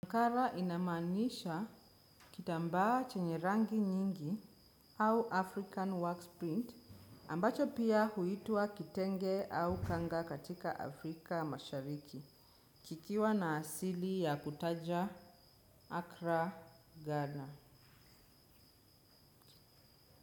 Mkara inamanisha kitamba chenye rangi nyingi au African works print ambacho pia huitwa kitenge au kanga katika Afrika mashariki kikiwa na asili ya kutaja Acra Ghana.